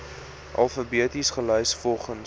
alfabeties gelys volgens